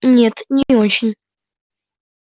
нет не очень